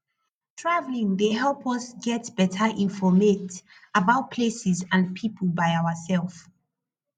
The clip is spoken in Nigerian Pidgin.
travelling dey help us get better informate about places and people by ourself